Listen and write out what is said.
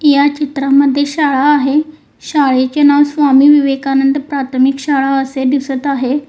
या चित्रामध्ये शाळा आहे शाळेचे नाव स्वामी विवेकानंद प्राथमिक शाळा असे दिसत आहे.